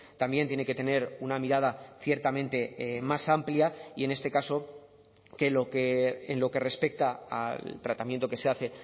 también tiene que tener una mirada ciertamente más amplia y en este caso que en lo que respecta al tratamiento que se hace